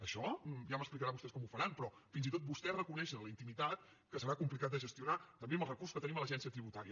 això ja m’explicaran vostès com ho faran però fins i tot vostè reconeix en la intimitat que serà complicat de gestionar també amb els recursos que tenim a l’agència tributària